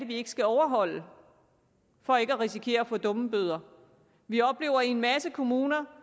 de ikke skal overholde for ikke at risikere at få dummebøder vi oplever i en masse kommuner